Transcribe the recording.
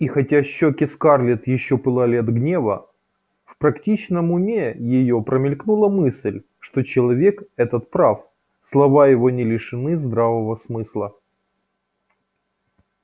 и хотя щеки скарлетт ещё пылали от гнева в практичном уме её промелькнула мысль что человек этот прав слова его не лишены здравого смысла